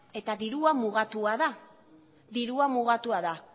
eta dirua mugatua da dirua mugatua da